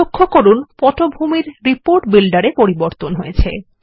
লক্ষ্য করুন পটভূমিরReport Builder এ পরিবর্তন হয়েছে